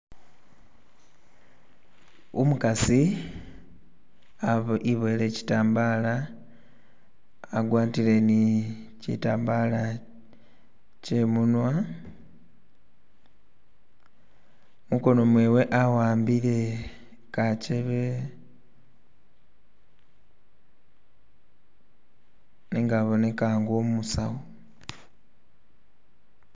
Umukasi iboyile kyitambala agwatile ni kyitambala kyemunwa mukono mwewe aambile kakyebe nenga aboneka nga umusawu.